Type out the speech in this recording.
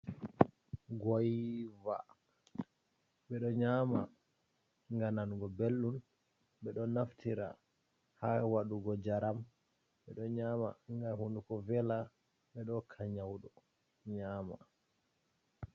Goiva, ɓe ɗo nyama nga nanugo belɗum. Ɓe ɗo naftira haa waɗugo njaram. Ɓe ɗo nyama ngam hunduko vela. Ɓe ɗo hokka nyauɗo nyama.